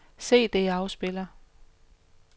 CD-afspiller